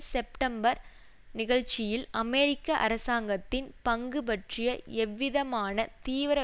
September நிகழ்ச்சியில் அமெரிக்க அரசாங்கத்தின் பங்கு பற்றிய எந்தவிதமான தீவிர